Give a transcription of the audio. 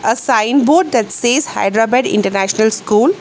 A sign board that says hyderabad international school.